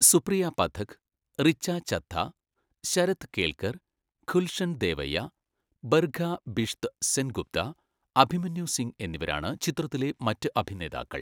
സുപ്രിയ പഥക്, റിച്ച ചദ്ദ, ശരദ് കേൽക്കർ, ഗുൽഷൻ ദേവയ്യ, ബർഖ ബിഷ്ത് സെൻഗുപ്ത, അഭിമന്യു സിംഗ് എന്നിവരാണ് ചിത്രത്തിലെ മറ്റ് അഭിനേതാക്കൾ.